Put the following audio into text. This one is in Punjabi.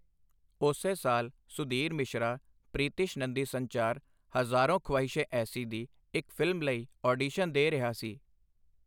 ਉਸੇ ਸਾਲ ਸੁਧੀਰ ਮਿਸ਼ਰਾ ਪ੍ਰੀਤੀਸ਼ ਨੰਦੀ ਸੰਚਾਰ, 'ਹਜ਼ਾਰੋਂ ਖਵਾਇਸ਼ੇ ਐਸੀ' ਦੀ ਇੱਕ ਫ਼ਿਲਮ ਲਈ ਆਡੀਸ਼ਨ ਦੇ ਰਿਹਾ ਸੀ।